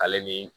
Ale ni